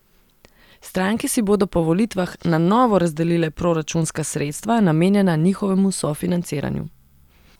Stranke si bodo po volitvah na novo razdelile proračunska sredstva, namenjena njihovemu sofinanciranju.